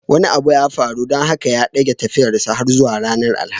Wani abu ya faru don haka ya dage tafiyarsa har zuwa ranar alhamis